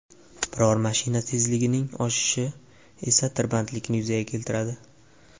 Biror mashina tezligining oshishi esa tirbandlikni yuzaga keltiradi.